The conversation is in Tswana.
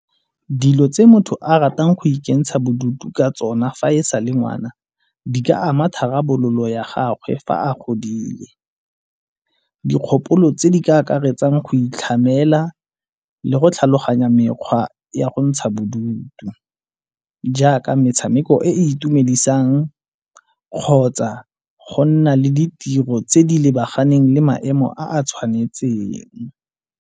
Dilo tse motho a ratang go ikentsha bodutu ka tsona fa e sa le ngwana di ka ama tharabololo ya gagwe fa a godile. Dikgopolo tse di ka akaretsang go itlhamela le go tlhaloganya mekgwa ya go ntsha bodutu jaaka metshameko e e itumedisang kgotsa go nna le ditiro tse di lebaganeng le maemo a a tshwanetseng.